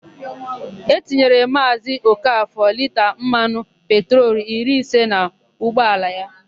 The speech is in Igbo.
E tinyere Maazị Okafọ lita mmanụ petrolu iri ise n'ụgbaala ya.